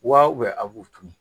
Wa a b'u tunu